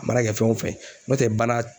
A mana kɛ fɛn o fɛn ye n'o tɛ bana